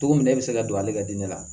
Cogo min na e bɛ se ka don ale ka diinɛ la